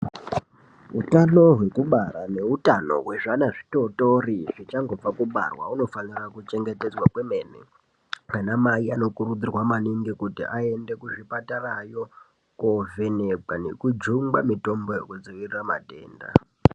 Utano hwekubara neutano hwezvana zvitotori zvichangobva kubarwa hunofanira kuchengetedzwa kwemene. Anamai anokurudzirwa maningi kuti aende kuzvipatarayo kovhenekwa nekujungwa mitombo yekudzivirira matenda.